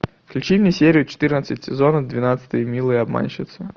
включи мне серию четырнадцать сезона двенадцать милые обманщицы